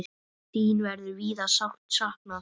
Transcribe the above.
Þín verður víða sárt saknað.